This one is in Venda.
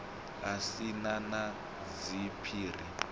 a si na na zwiphiri